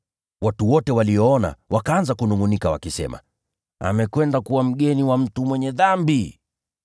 Watu wote walipoona hivyo, wakaanza kunungʼunika wakisema, “Amekwenda kuwa mgeni wa ‘mtu mwenye dhambi.’ ”